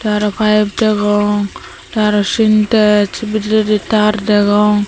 te aro pipe degong te aro sintex bidirendi tar degong.